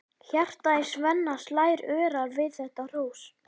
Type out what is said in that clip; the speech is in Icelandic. Hjartað í Svenna slær örar við þetta hrós.